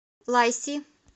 лайси